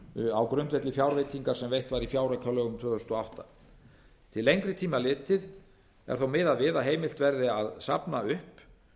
níu á grundvelli fjárveitingar sem veitt var í fjáraukalögum tvö þúsund og átta til lengri tíma litið er þó miðað við að heimilt verði að safna upp